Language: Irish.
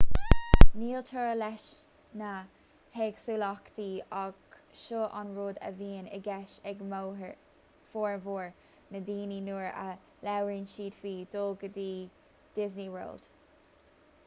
níl teora leis na héagsúlachtaí ach seo an rud a bhíonn i gceist ag formhór na ndaoine nuair a labhraíonn siad faoi dhul go disney world